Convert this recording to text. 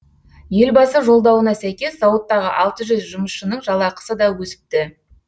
елбасы жолдауына сәйкес зауыттағы алты жүз жұмысшының жалақысы да өсіпті